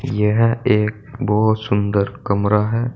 यह एक बहोत सुंदर कमरा है।